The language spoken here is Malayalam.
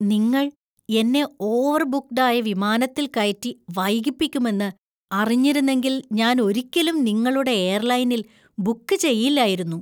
നിങ്ങൾ എന്നെ ഓവർബുക്ഡ് ആയ വിമാനത്തിൽ കയറ്റി വൈകിപ്പിക്കുമെന്ന് അറിഞ്ഞിരുന്നെങ്കിൽ ഞാൻ ഒരിക്കലും നിങ്ങളുടെ എയർലൈനിൽ ബുക്ക് ചെയ്യില്ലായിരുന്നു.